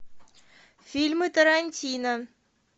фильмы тарантино